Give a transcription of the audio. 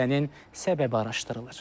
Hadisənin səbəbi araşdırılır.